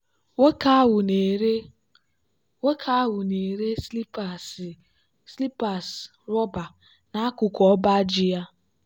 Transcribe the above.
nwoke ahụ na-ere nwoke ahụ na-ere slippers rọba n'akụkụ ọba ji ya.